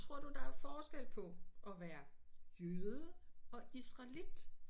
Tror du der er forskel på at være jøde og israelit?